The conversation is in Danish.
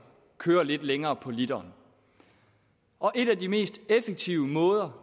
kører lidt længere på literen og en af de mest effektive måder